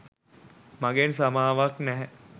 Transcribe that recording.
මගෙන් සමාවක් නැහැ.